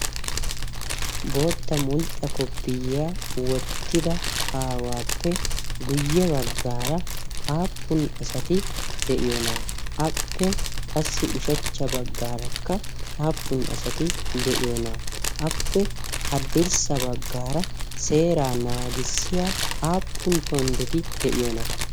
bootta mulxxa koppiyiyaa wottida aawaappe guyye baggaara aappun asati de'iyoonaaa appe qassi ushachcha baggaarakka aappun asati de'iyoonaaa appe haddirssa baggaara seeraa naagissiya aappun tonddeti de'iyoonaa?